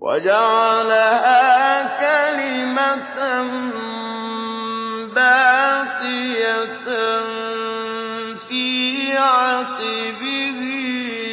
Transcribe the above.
وَجَعَلَهَا كَلِمَةً بَاقِيَةً فِي عَقِبِهِ